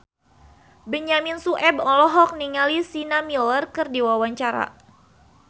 Benyamin Sueb olohok ningali Sienna Miller keur diwawancara